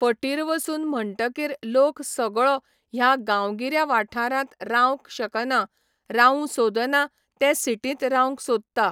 फटीर वसून म्हणकीर लोक सगळो ह्या गांवगिऱ्या वाठारांत रावंक शकना रावू सोदना ते सिटींत रावंक सोदता.